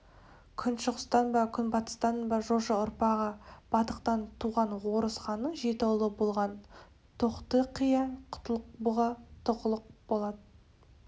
күншығыстан ба күнбатыстан ба жошы ұрпағы бадықтан туған орыс ханның жеті ұлы болған тоқты-қия құтлық-бұғы тұғылық-болат